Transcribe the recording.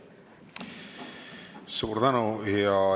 Suur tänu!